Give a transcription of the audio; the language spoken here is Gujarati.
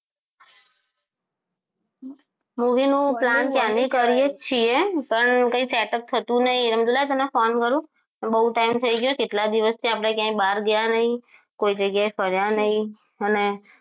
Movie નો plane ક્યારનો કરીએ જ છીએ પણ કઈ setup થતું નહીં તે કીધું લાઈ તને ફોન કરું બહુ time થઈ ગયો કેટલા દિવસથી આપણે ક્યાંય બહાર ક્યાં નહીં કોઈ જગ્યાએ ફર્યા નહીં અને